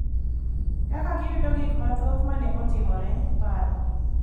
Kaka giyudo gik mathoth ma ne otimore, paro,